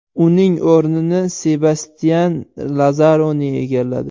Uning o‘rnini Sebastyan Lazaroni egalladi.